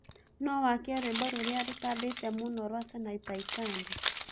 no wakĩe rwĩmbo rũrĩa rũtambĩte mũno rwa sanaipei tande